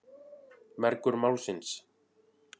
Mergur Málsins.